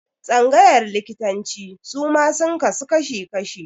Tsangayar likitanci suma sun kasu kashi-kashi.